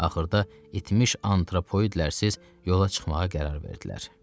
Axırda itmiş antropoidlərsiz yola çıxmağa qərar verdilər.